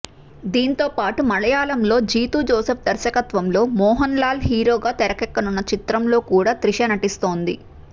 దాంతో పాటు మలయాళంలో జీతూ జోసెఫ్ దర్శకత్వంలో మోహన్ లాల్ హీరోగా తెరకెక్కనున్న చిత్రంలో కూడా త్రిష నటిస్తోంది